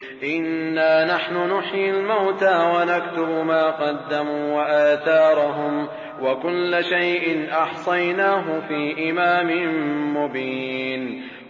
إِنَّا نَحْنُ نُحْيِي الْمَوْتَىٰ وَنَكْتُبُ مَا قَدَّمُوا وَآثَارَهُمْ ۚ وَكُلَّ شَيْءٍ أَحْصَيْنَاهُ فِي إِمَامٍ مُّبِينٍ